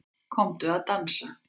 Komdu að dansa